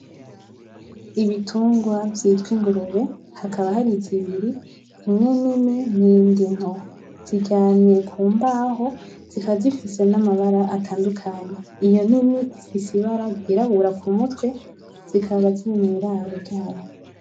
Ibitungwa vyitwa ingurube hakaba hari zibiri, imwe nini n’iyindi nto, ziryamye ku mbaho zikaba zifise n’amabara atandukanye. Iyo nini ifise ibara ryirabura ku mutwe, zikaba ziri mw’iraro ryayo.